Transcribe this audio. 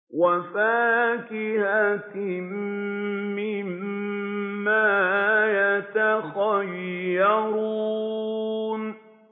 وَفَاكِهَةٍ مِّمَّا يَتَخَيَّرُونَ